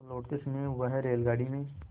तो लौटते समय वह रेलगाडी में